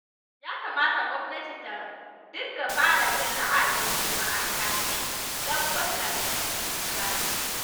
Ya kamata gwamnati ta dinga fara jin ra'ayin jama'a kafin ɗabbaƙa doka.